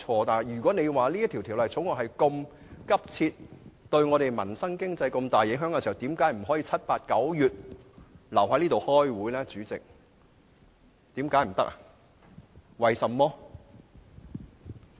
但如果這項《條例草案》那麼急切，又對民生和經濟有重大影響，為何議員不可以在7月、8月和9月留在這裏開會？